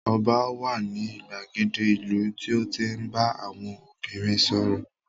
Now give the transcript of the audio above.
Ọba wà ní ìgbàgede ìlú tí ó ń tí ń bá àwọn obìnrin sọ̀rọ̀